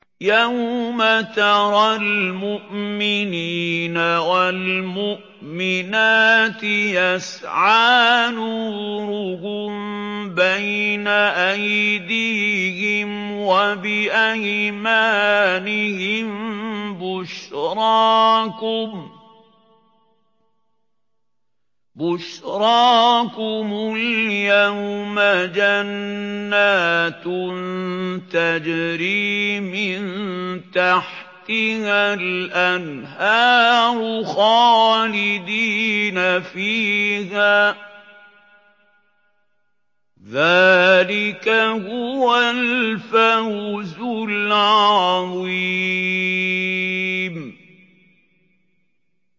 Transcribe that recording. يَوْمَ تَرَى الْمُؤْمِنِينَ وَالْمُؤْمِنَاتِ يَسْعَىٰ نُورُهُم بَيْنَ أَيْدِيهِمْ وَبِأَيْمَانِهِم بُشْرَاكُمُ الْيَوْمَ جَنَّاتٌ تَجْرِي مِن تَحْتِهَا الْأَنْهَارُ خَالِدِينَ فِيهَا ۚ ذَٰلِكَ هُوَ الْفَوْزُ الْعَظِيمُ